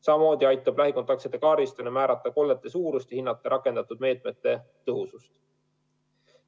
Samamoodi aitab lähikontaktsete kaardistamine määrata kollete suurust ja hinnata rakendatud meetmete tõhusust.